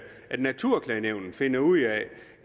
at naturklagenævnet finder ud af